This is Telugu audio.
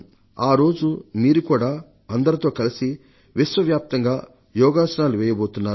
ఆరోజు మీరు కూడా అందరితో పాటు విశ్వవ్యాప్తంగా యోగసనాలు వెయ్యబోతున్నారు